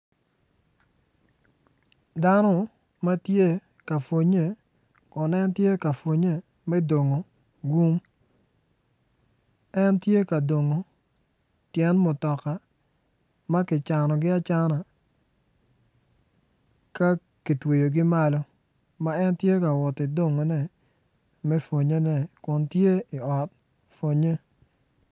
Dano ma tye ka pwonnye kun entye ka pwonnye me dongo bun en tye ka dongo tyen mutoka ma gicanogi acana ka gitweyogi malo ma en tye ka woti dongone me pwonnyene kun tye i ot pwonnye